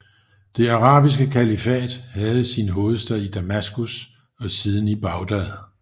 Det arabiske kalifat havde sin hovedstad i Damaskus og siden i Bagdad